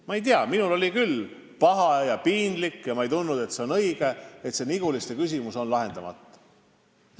Ma ei tea, minul on küll paha ja piinlik ja ma ei tunne, et see on õige, kui Niguliste küsimus on lahendamata.